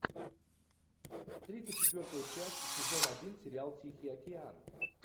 тридцать четвертая часть сезон один сериал тихий океан